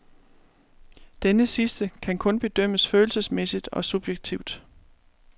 Denne sidste kan kun bedømmes følelsesmæssigt og subjektivt.